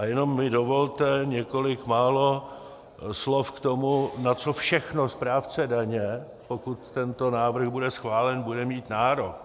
A jenom mi dovolte několik málo slov k tomu, na co všechno správce daně, pokud tento návrh bude schválen, bude mít nárok.